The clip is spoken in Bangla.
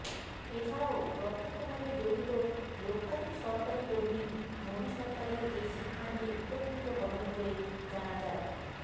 এছাড়াও প্রত্যক্ষভাবে জড়িত লক্ষাধিক সরকারি কর্মী মোদী সরকারের এই সিদ্ধান্তে উপকৃত হবেন বলে জানা যায়